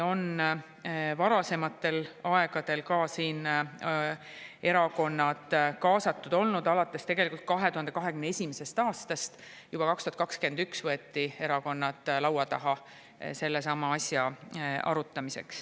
Tegelikult on erakonnad kaasatud olnud juba varem, alates 2021. aastast: juba 2021 võeti erakonnad laua taha sellesama asja arutamiseks.